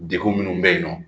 Degun minnu bɛ yen nɔ